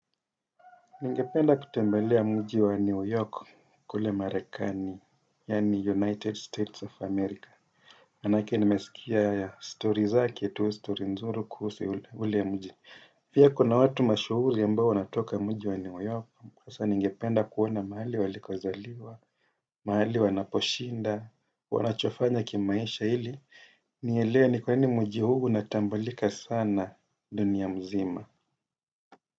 Ningependa kutembelea mji wa New York kule Marekani, yani United States of America. Manake nimesikia ya story zake, tu story nzuri kuhusu ule mji. Pia kuna watu mashuhuri ambao wanatoka mji wa New York. Kwa sana ningependa kuona mahali waliko zaliwa, mahali wanaposhinda, wanachofanya kimaisha ili. Nielewe ni kwa nini mji huu unatambulika sana dunia mzima.